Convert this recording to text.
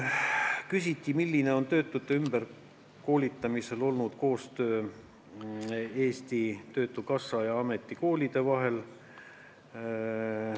Küsiti, milline on töötute ümberkoolitamisel olnud koostöö Eesti Töötukassa ja ametikoolide vahel.